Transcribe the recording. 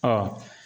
Ɔ